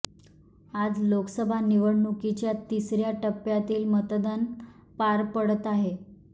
आज लोकसभा निवडणूकीच्या तिसऱ्या टप्प्यातील मतदान पार पडत आहे